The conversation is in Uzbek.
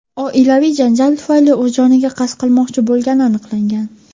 oilaviy janjal tufayli o‘z joniga qasd qilmoqchi bo‘lgani aniqlangan.